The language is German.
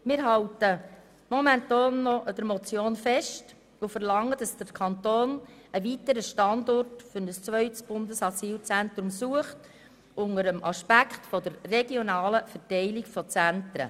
Wir halten im Moment noch an der Motion fest und verlangen, dass der Kanton einen weiteren Standort für ein zweites Bundesasylzentrum sucht, unter dem Aspekt der regionalen Verteilung von Zentren.